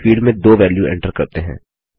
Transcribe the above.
चलिए फील्ड में 2 value enter करते हैं